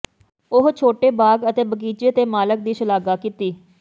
ਉਹ ਛੋਟੇ ਬਾਗ ਅਤੇ ਬਗੀਚੇ ਦੇ ਮਾਲਕ ਦੀ ਸ਼ਲਾਘਾ ਕੀਤੀ